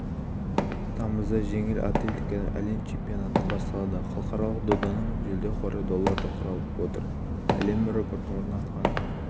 тамызда жеңіл атлетикадан әлем чемпионаты басталады халықаралық доданың жүлде қоры долларды құрап отыр әлем рекордын орнатқан